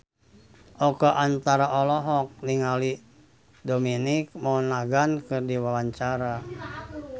Oka Antara olohok ningali Dominic Monaghan keur diwawancara